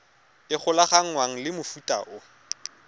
e golaganngwang le mofuta o